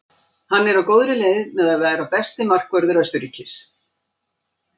Hann er á góðri leið með að verða besti markvörður Austurríkis.